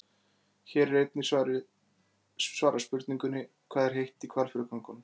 Hér er einnig svarað spurningunni: Hvað er heitt í Hvalfjarðargöngunum?